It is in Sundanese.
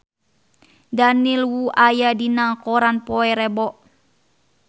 Daniel Wu aya dina koran poe Rebo